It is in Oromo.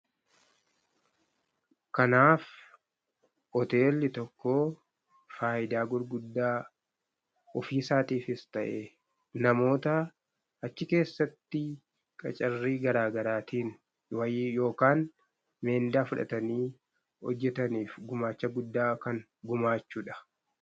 Kanaaf hoteelli tokko faayidaa gurguddaa ofiisaatiifis ta'e, namoota achi keessatti qacarrii garaa garaatiin wayii yookaan miindaa fudhatanii hojjetaniif gumaacha guddaa kan gumaachudha.